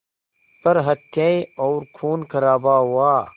पर हत्याएं और ख़ूनख़राबा हुआ